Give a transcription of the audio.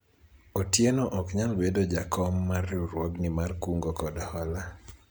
Otieno ok nyal bedo jakom mar riwruogni mar kungo kod hola